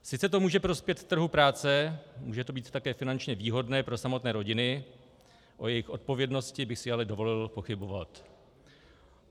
Sice to může prospět trhu práce, může to být také finančně výhodné pro samotné rodiny, o jejich odpovědnosti bych si ale dovolil pochybovat.